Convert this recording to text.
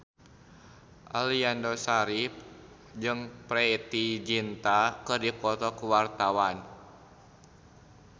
Aliando Syarif jeung Preity Zinta keur dipoto ku wartawan